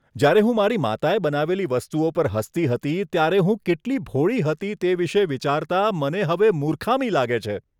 જ્યારે હું મારી માતાએ બનાવેલી વસ્તુઓ પર હસતી હતી, ત્યારે હું કેટલી ભોળી હતી તે વિશે વિચારતા મને હવે મૂર્ખામી લાગે છે.